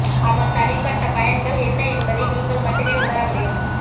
அதன் தனிப்பட்ட பயன்கள் என்ன என்பதை நீங்கள் மட்டுமே உணர முடியும்